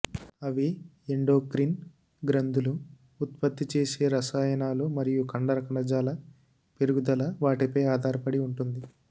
అవి ఎండోక్రిన్ గ్రంథులు ఉత్పత్తి చేసే రసాయనాలు మరియు కండర కణజాల పెరుగుదల వాటిపై ఆధారపడి ఉంటుంది